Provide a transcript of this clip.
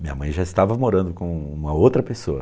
Minha mãe já estava morando com uma outra pessoa.